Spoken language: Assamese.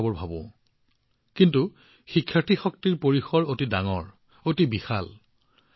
বহুসময়ত আমি দেখিছোঁ যে যেতিয়া ছাত্ৰ শক্তিৰ কথা কোৱা হয় ইয়াক ছাত্ৰ সন্থাৰ নিৰ্বাচনৰ সৈতে সংযুক্ত কৰি ইয়াৰ পৰিসৰ সীমিত কৰা হয়